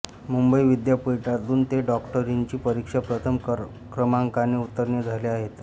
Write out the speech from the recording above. मुंबई विद्यापीठातून ते डॉक्टरीची परीक्षा प्रथम क्रमांकाने उत्तीर्ण झाले आहेत